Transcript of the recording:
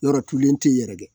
Yɔrɔtulen tɛ yen yɛrɛ dɛ.